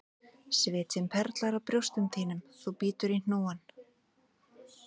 Svitinn perlar á brjóstum þínum þú bítur í hnúann,